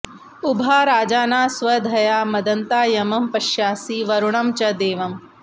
उभा राजाना स्वधया मदन्ता यमं पश्यासि वरुणं च देवम्